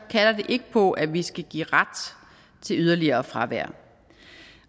kalder det ikke på at vi skal give ret til yderligere fravær